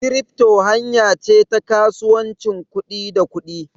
Kirifto hanya ce ta kasuwancin kuɗi da kuɗi.